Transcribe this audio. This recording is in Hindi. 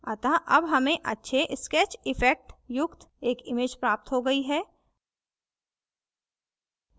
अतः अब हमें अच्छे sketch effect युक्त एक image प्राप्त हो गई है